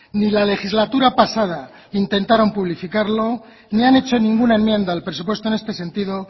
ni la legislatura pasada intentaron publicitarlo ni han hecho ninguna enmienda al presupuesto en este sentido